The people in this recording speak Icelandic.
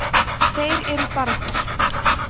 þeir eru barðir